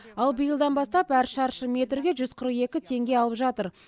ал биылдан бастап әр шаршы метрге жүз қырық екі теңге алып жатыр